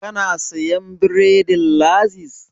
Ka na siyan bredin Laziz?